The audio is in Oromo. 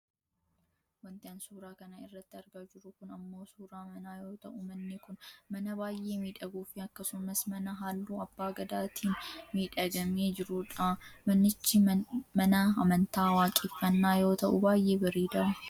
wanti an suuraa kana irratti argaa jiru kun ammoo suuraa manaa yoo ta'u manni kun mana baayyee miidhaguufi akkasumas mana halluu abbaa gadaatiin miidhagfamee jirudha. manichi mana amantaa waaqeffannaa yoo ta'u baayyee bareeda.